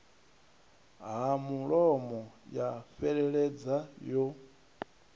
ha mulomo ya fheleledza yo